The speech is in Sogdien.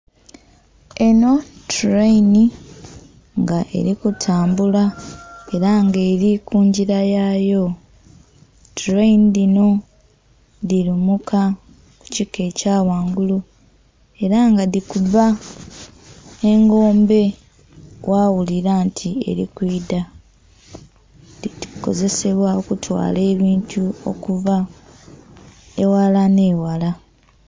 Enho tuleinhi nga eri kutambula era nga eri kungila yaayo, tuleinhi dhino dhilumuka ku kika ekya ghangulu era nga dhikuba engombe ghaghulila nti eri kwidha, dhikozesebwa okutwala ebintu okuva eghala nhe'ghala.